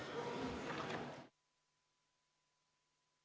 Istungi lõpp kell 10.37.